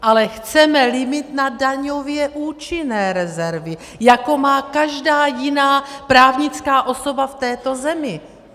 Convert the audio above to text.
Ale chceme limit na daňově účinné rezervy, jako má každá jiná právnická osoba v této zemi.